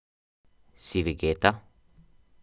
Si vegeta?